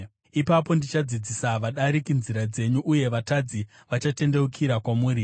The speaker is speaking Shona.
Ipapo ndichadzidzisa vadariki nzira dzenyu, uye vatadzi vachatendeukira kwamuri.